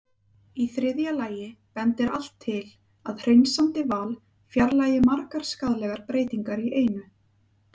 Í þriðja lagi bendir allt til að hreinsandi val fjarlægi margar skaðlegar breytingar í einu.